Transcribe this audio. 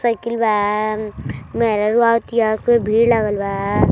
Cycle बा म् मेहररूआ आवतीया खूबे भीड़ लागल बा।